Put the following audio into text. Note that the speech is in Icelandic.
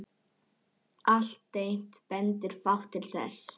Alltént bendir fátt til þess.